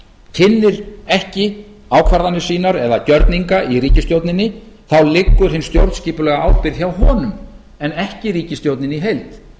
kynnir ekki ákvarðanir sínar eða gjörninga í ríkisstjórninni þá liggur hin stjórnskipulega ábyrgð hjá honum en ekki ríkisstjórninni í heild